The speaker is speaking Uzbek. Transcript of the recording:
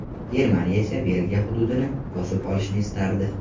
Germaniya esa Belgiya hududini bosib olishni istardi.